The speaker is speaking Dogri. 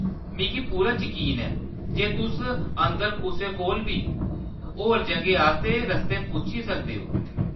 मिगी पूरा यकीन ऐ जे तुस अंदर कुसै कोला बी होर जग्हें आस्तै रस्ते पुच्छी सकदे ओ।